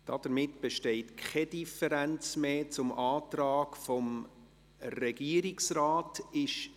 Damit besteht keine Differenz mehr zum Antrag des Regierungsrates.